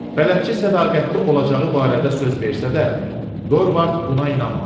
Bələdçi sədaqətli olacağı barədə söz versə də, Dorvard buna inanmadı.